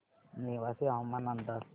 नेवासे हवामान अंदाज